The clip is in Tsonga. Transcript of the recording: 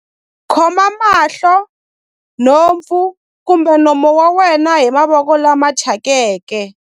Khoma mahlo, nhompfu kumbe nomo wa wena hi mavoko lama thyakeke.